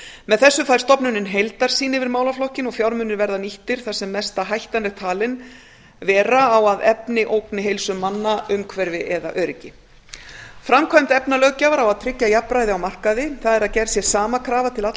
með þessu fær stofnunin heildarsýn yfir málaflokkinn og fjármunir verði nýttir þar sem mesta hættan er talin vera á að efni ógni heilsu manna umhverfi eða öryggi framkvæmd efnalöggjafar á að tryggja jafnræði á markaði það er að gerð sé sama krafa til allra